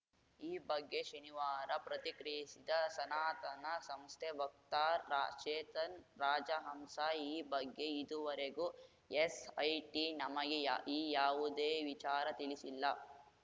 ಈ ಬಗ್ಗೆ ಶನಿವಾರ ಪ್ರತಿಕ್ರಿಯಿಸಿದ ಸನಾತನ ಸಂಸ್ಥೆ ವಕ್ತಾರ ಚೇತನ್‌ ರಾಜಹಂಸ ಈ ಬಗ್ಗೆ ಇದುವರೆಗೂ ಎಸ್‌ಐಟಿ ನಮಗೆ ಈ ಯಾವುದೇ ವಿಚಾರ ತಿಳಿಸಿಲ್ಲ